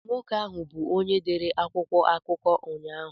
Nwoke ahụ bụ onye dere akwụkwọ akụkọ ụnyahụ.